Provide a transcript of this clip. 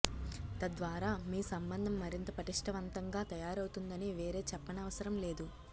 తద్వారా మీ సంబంధం మరింత పటిష్టవంతంగా తయారవుతుందని వేరే చెప్పనవసరం లేదు